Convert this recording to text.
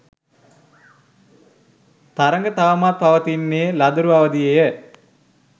තරග තවමත් පවතින්නේ ළදරු අවධියේය.